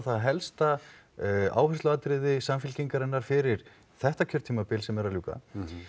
helsta áhersluatriði Samfylkingarinnar fyrir þetta kjörtímabil sem er að ljúka